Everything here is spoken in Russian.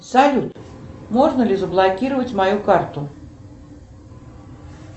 салют можно ли заблокировать мою карту